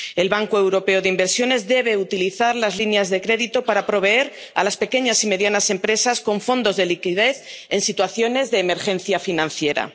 empleo. El Banco Europeo de Inversiones debe utilizar las líneas de crédito para proveer a las pequeñas y medianas empresas de fondos de liquidez en situaciones de emergencia financiera.